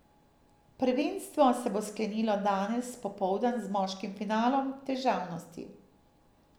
Prvenstvo se bo sklenilo danes popoldan z moškim finalom v težavnosti.